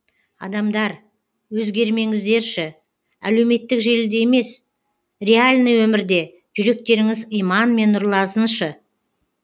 адамдар өзгермеңіздерші әлеуметтік желіде емес реальный өмірде жүректеріңіз иманмен нұрлансыншы